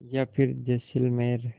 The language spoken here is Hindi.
या फिर जैसलमेर